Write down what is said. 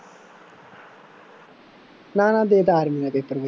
ਨਾ ਨਾ ਦੇ ਦਿੱਤਾ ਆਰਮੀ ਦਾ ਪੇਪਰ ਵੀ